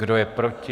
Kdo je proti?